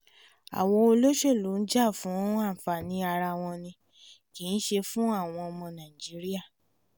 àwọn olóṣèlú ń jà fún anfani ara wọn ní kìí ṣe fún àwọn ọmọ nàìjíríà